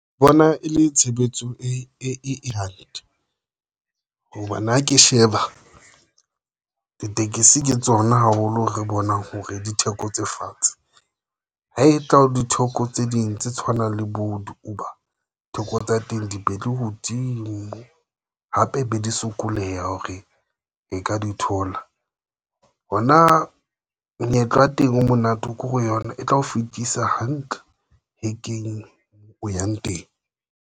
Bona e le tshebetso e ehand hobane ha ke sheba ditekesi ke tsona haholo re bonang hore ditheko tse fatshe ha e tlao ditheko tse ding tse tshwanang le bo di-Uber. Theko tsa teng dibedile hodimo hape be di sokoleha hore e ka di thola. Hona menyetla ya teng o monate, o kore yona e tla o fehlisa hantle hekeng moo o yang teng.